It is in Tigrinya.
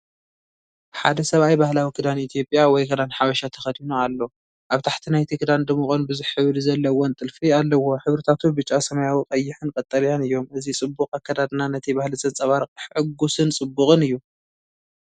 ሓደ ሰብኣይ ባህላዊ ክዳን ኢትዮጵያ ወይ "ክዳን ሓበሻ" ተኸዲኑ ኣሎ። ኣብ ታሕቲ ናይቲ ክዳን ድሙቕን ብዙሕ ሕብሪ ዘለዎን ጥልፊ ኣለዎ። ሕብርታቱ ብጫ፡ ሰማያዊ፡ ቀይሕን ቀጠልያን እዮም። እዚ ጽቡቕ ኣከዳድና ነቲ ባህሊ ዘንጸባርቕ ሕጉስን ጽቡቕን እዩ።